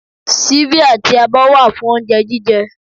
Síbí àti abọ́ wà fún oúnjẹ jíjẹ